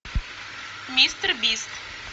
мистер бист